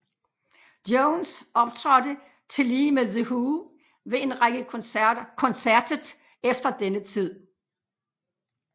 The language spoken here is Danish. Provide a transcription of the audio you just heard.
Jones optrådte tillige med The Who ved en række koncertet efter denne tid